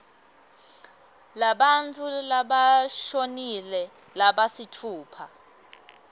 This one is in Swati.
labantfu labashonile labasitfupha